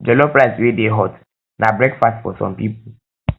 jollof rice wey dey hot na um breakfast for some pipo